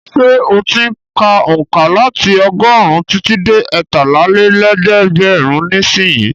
Ṣé ó ti ń ka onka láti ọgọ́rùn-ún títí dé ẹtálá-lé-lẹ́gbẹ̀rún nísìnyí?